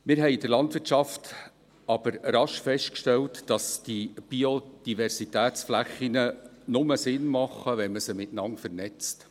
Wir haben in der Landwirtschaft aber rasch festgestellt, dass die Biodiversitätsflächen nur Sinn ergeben, wenn man sie miteinander vernetzt.